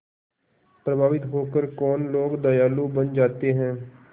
प्रभावित होकर कौन लोग दयालु बन जाते हैं